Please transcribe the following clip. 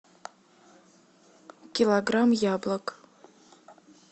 килограмм яблок